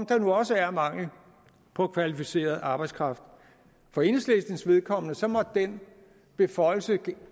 der nu også er mangel på kvalificeret arbejdskraft for enhedslistens vedkommende måtte den beføjelse